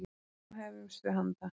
Nú hefjumst við handa!